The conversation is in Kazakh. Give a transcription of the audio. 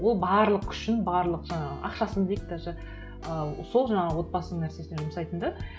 ол барлық күшін барлық жаңағы ақшасын дейік даже ы сол жаңағы отбасының мәселесіне жұмсайтын да